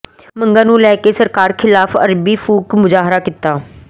ਮੰਗਾਂ ਨੂੰ ਲੈ ਕੇ ਸਰਕਾਰ ਖਿਲਾਫ਼ ਅਰਥੀ ਫੂਕ ਮੁਜਾਹਰਾ ਕੀਤਾ